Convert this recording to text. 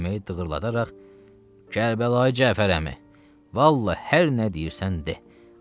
Çölməyi dığırladaraq Kərbəlayı Cəfər əmi, vallahi hər nə deyirsən de.